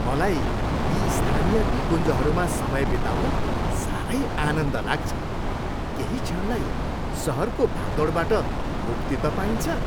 मलाई यी स्थानीय निकुञ्जहरूमा समय बिताउन साह्रै आनन्द लाग्छ। केही क्षणलाई सहरको भागदौडबाट मुक्ति त पाइन्छ!